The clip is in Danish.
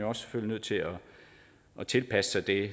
også nødt til at tilpasse sig det